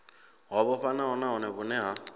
ho vhofhanaho nahone vhune ha